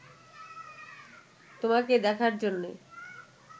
তোমাকে দেখার জন্যে